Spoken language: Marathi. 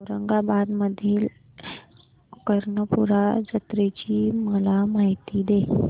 औरंगाबाद मधील कर्णपूरा जत्रेची मला माहिती दे